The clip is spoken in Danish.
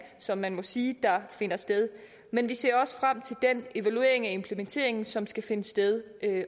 som man må sige finder sted men vi ser også frem til den evaluering af implementeringen som skal finde sted